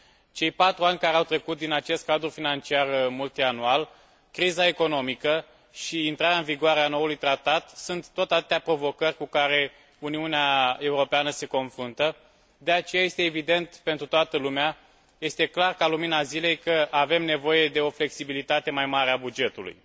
Cei patru ani care au trecut din acest cadru financiar multianual, criza economică și intrarea în vigoare a noului tratat sunt tot atâtea provocări cu care Uniunea Europeană se confruntă, de aceea este evident pentru toată lumea, este clar ca lumina zilei că avem nevoie de o flexibilitate mai mare a bugetului.